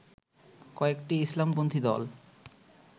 কয়েকটি ইসলামপন্থী দল